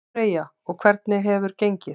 Freyja: Og hvernig hefur gengið?